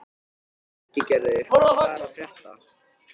Ingigerður, hvað er að frétta?